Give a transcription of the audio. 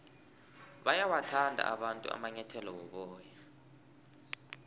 bayawathanda abantu amanyathele woboya